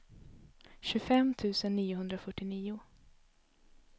tjugofem tusen niohundrafyrtionio